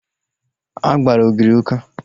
A gbara ogiri ụka